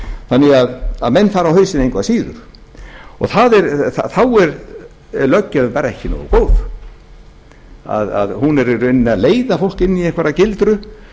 þannig að menn fara á hausinn engu að síður þá er löggjöfin bara ekki nógu góð hún er í rauninni að leiða fólk inn í einhverja gildru